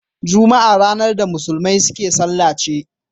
Juma'a ranar da musulmai suke sallar ce.